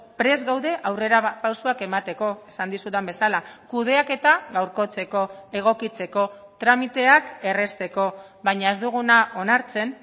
prest gaude aurrerapausoak emateko esan dizudan bezala kudeaketa gaurkotzeko egokitzeko tramiteak errazteko baina ez duguna onartzen